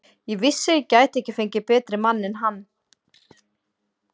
Ég vissi að ég gæti ekki fengið betri mann en hann.